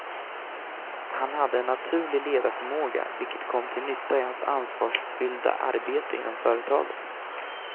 Han hade en naturlig ledarförmåga, vilket kom till nytta i hans ansvarsfyllda arbete inom företaget.